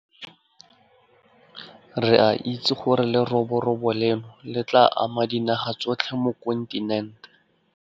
Re a itse gore leroborobo leno le tla ama dinaga tsotlhe mo kontinent.